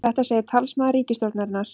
Þetta segir talsmaður ríkisstjórnarinnar